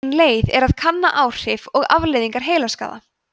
ein leið er að kanna áhrif og afleiðingar heilaskaða